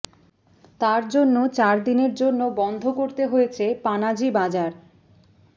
তার জন্য চারদিনের জন্য বন্ধ করতে হয়েছে পানাজি বাজার